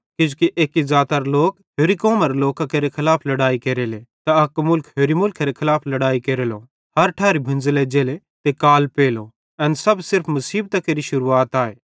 किजोकि एक्की ज़ातारे लोक होरि कौमरे लोकां केरे खलाफ लड़ाई केरले त अक मुलख होरि मुल्खेरे खलाफ लड़ाई केरेलो हर ठैरी भुंज़ल एज्जले त काल पेलो एन सब त सिर्फ मुसीबतां केरि शुरुआत आए